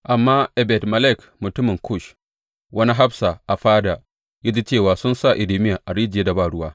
Amma Ebed Melek mutumin Kush, wani hafsa a fada, ya ji cewa sun sa Irmiya a rijiyar da ba ruwa.